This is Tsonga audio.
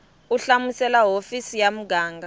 u hlamusela hofisi ya muganga